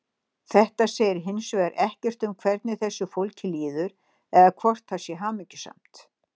Þetta segir hins vegar ekkert um hvernig þessu fólki líður eða hvort það sé hamingjusamt.